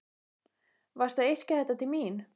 Varstu að yrkja þetta til mín?